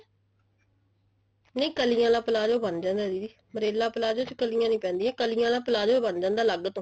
ਨਹੀਂ ਕਲੀਆਂ ਆਲਾ palazzo ਬਣ ਜਾਂਦਾ ਦੀਦੀ umbrella palazzo ਚ ਕਲੀਆਂ ਨਹੀਂ ਪੈਂਦੀਆਂ ਕਲੀਆਂ ਆਲਾ palazzo ਬਣ ਜਾਂਦਾ ਅੱਲਗ ਤੋਂ